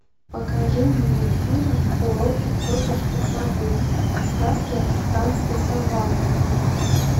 покажи мне фильм уроки тетушки совы сказки африканской саванны